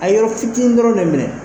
A yo fitinin dɔrɔn de minɛ.